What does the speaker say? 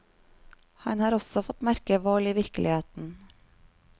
Han har også fått merke vold i virkeligheten.